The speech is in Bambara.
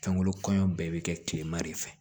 Fɛnko kɔɲɔ bɛɛ bɛ kɛ kilema de fɛ